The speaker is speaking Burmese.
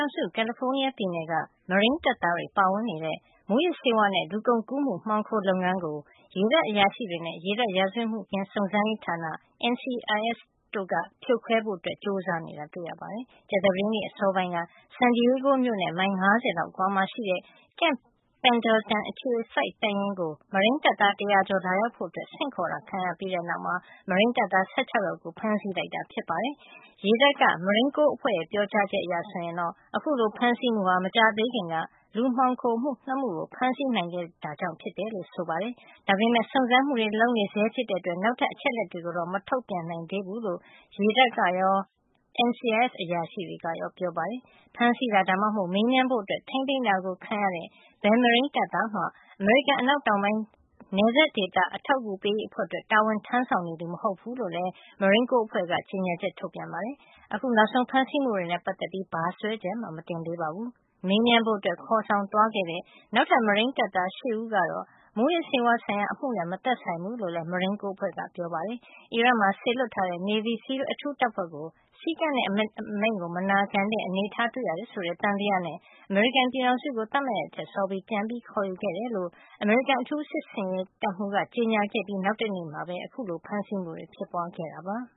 ား ပြည်နယ်က မရိန်းတပ်သားတွေပါဝင်နေတဲ့ မူးယစ်ဆေးဝါး နဲ့ လူကုန်ကူးမှု မှောင်ခိုလုပ်ငန်းကို ရေတပ်အရာရှိတွေနဲ့ ရေတပ် ရာဇဝတ်မှုခင်းစုံစမ်းရေးဌာန NCIS တို့က ဖြိုခွဲဖို့ ကြိုးစားနေတာတွေ့ရပါတယ်။ ကြာသပတေးနေ့ အစောပိုင်းက San Diego မြို့နဲ့ မိုင် ၅၀ လောက်အကွာမှာ ရှိတဲ့ Camp Pendleton အခြေစိုက်တပ်ရင်း ကို မရိန်းတပ်သား တရာကျော်ကို လာရောက်ဖို့ ဆင့်ခေါ်ခဲ့ပြီးတဲ့နောက် မရိန်းတပ်သား ၁၆ ယောက်ကို ဖမ်းဆီးလိုက်တာ ဖြစ်ပါတယ်။ ရေတပ် Marine Corps အဖွဲ့ရဲ့ ပြောကြားချက်အရ ဆိုရင်တော့ အခုလို ဖမ်းဆီးမှုဟာ မကြာသေးခင်က လူမှောင်ခိုမှု ၂ မှုကို ဖမ်းဆီးနိုင်ခဲ့တာကြောင့် ဖြစ်တယ်လို့ ဆိုပါတယ်။ ဒါပေမယ့် စုံစမ်းစစ်ဆေးမှုတွေ လုပ်နေဆဲ ဖြစ်တဲ့အတွက် နောက်ထပ် အချက်အလက်တွေကိုတော့ မထုတ်ပြန် နိုင်သေးဘူးလို့ ရေတပ်နဲ့ NCIS အရာရှိတွေက ပြောပါတယ်။ ဖမ်းဆီးတာ ဒါမှမဟုတ် မေးမြန်းဖို့ထိန်းသိမ်းတာ ခံရတဲ့ ဘယ်မရိန်းတပ်သားမှ အမေရိကန် အနောက်တောင်ပိုင်း နယ်စပ်ဒေသ အထောက်ကူပေးရေး အဖွဲ့အတွက် တာဝန်ထမ်းဆောင်နေသူ မဟုတ်ဖူးလို့လည်း Marine Corps အဖွဲ့က ကြေညာချက် ထုတ်ပြန် ပြောဆိုပါတယ်။ အခုနောက်ဆုံး ဖမ်းဆီးမှုတွေနဲ့ ပတ်သက်ပြီး ဘာစွဲချက်မှ မတင်သေးပါဘူး။ မေးမြန်းဖို့အတွက် ခေါ်ဆောင်သွားခဲ့တဲ့ နောက်ထပ် မရိန်းတပ်သား ၈ ဦးကတော့ မူးယစ်ဆေးဝါး ဆိုင်ရာအမှုနဲ့ မသက်ဆိုင်ဘူးလို့လည်း Marine Corps ကပြောပါတယ်။ အီရတ်မှာ စေလွှတ်ထားတဲ့ Navy SEAL အထူးတပ်ဖွဲ့ကို စည်းကမ်းနဲ့အမိန့်မနာခံတဲ့ အနေထားတွေ့ရတယ် ဆိုတဲ့ သံသယနဲ့ အမေရိကန်ပြည်ထောင်စုကို သတ်မှတ်ရက်ထက်စောပြီး ပြန်ခေါ်ယူခဲ့တယ်လို့ အမေရိကန် အထူးစစ်ဆင်ရေးတပ်မှူးက ကြေညာခဲ့ပြီး နောက်တနေ့မှာပဲ အခုလို ဖမ်းဆီးမှု ဖြစ်ပွားခဲ့တာပါ။